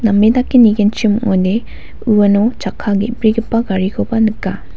name dake nigenchim ong·ode uano chakka ge·brigipa garikoba nika.